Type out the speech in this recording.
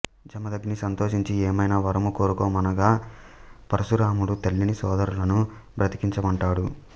జమదగ్ని సంతోషించి ఏమైనా వరము కోరుకొమ్మనగా పరశురాముడు తల్లిని సోదరులను బ్రతికించమంటాడు